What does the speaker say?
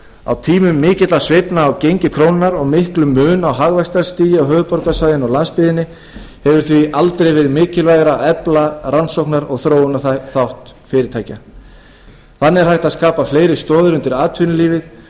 á tímum mikilla sveiflna á gengi krónunnar og miklum mun á hagvaxtarstigi á höfuðborgarsvæðinu og landsbyggðinni hefur því aldrei verið mikilvægara að efla rannsóknar og þróunarþátt fyrirtækja þannig er hægt að skapa fleiri stoðir undir atvinnulífið og ég